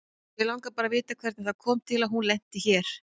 Mig langar bara að vita hvernig það kom til að hún lenti hér.